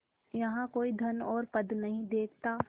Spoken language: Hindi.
यहाँ कोई धन और पद नहीं देखता